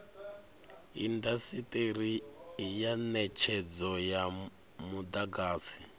indasiteri ya netshedzo ya mudagasi